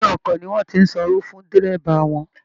Inú ọkọ̀ ni wọ́n ti sanwó fún dẹ́rẹ́bà wọn